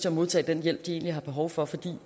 at modtage den hjælp de egentlig har behov for fordi